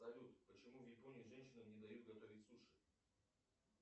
салют почему в японии женщинам не дают готовить суши